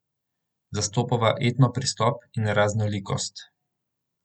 Zastopava etno pristop in raznolikost.